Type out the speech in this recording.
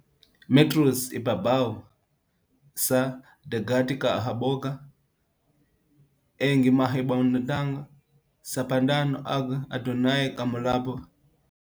metros ibabaw sa dagat kahaboga ang nahimutangan sa Pantano, ug adunay ka molupyo.